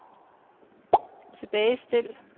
tilbagestil